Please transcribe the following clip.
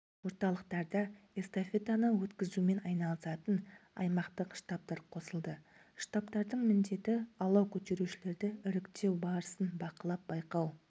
орталықтарда эстафетаны өткізумен айналысатын аймақтық штабтар қосылды штабтардың міндеті алау көтерушілерді іріктеу барысын бақылап байқау